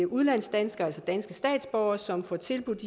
udlandsdanskere altså danske statsborgere som får tilbudt